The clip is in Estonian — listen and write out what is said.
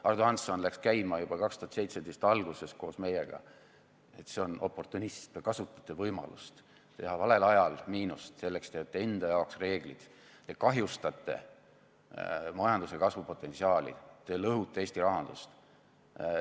Ardo Hansson läks käima juba 2017 alguses koos meiega, et see on oportunism, te kasutate võimalust teha valel ajal miinust, selleks teete enda jaoks reeglid, te kahjustate majanduse kasvupotentsiaali, te lõhute Eesti rahandust.